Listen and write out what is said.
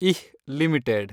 ಇಹ್ limited